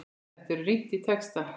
Þar er rýnt í texta.